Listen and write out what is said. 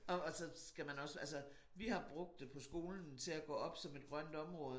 Og og så skal man også altså vi har brugt det på skolen til at gå op som et grønt område